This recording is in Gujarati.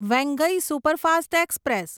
Vaigai superfast express